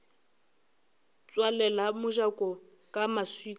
tswalela mojako ka maswika a